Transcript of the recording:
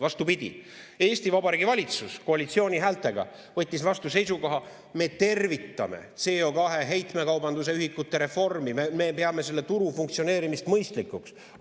Vastupidi, Eesti Vabariigi valitsus koalitsiooni häältega võttis vastu seisukoha: me tervitame CO2 heitmekaubanduse ühikute reformi, me peame selle turu funktsioneerimist mõistlikuks.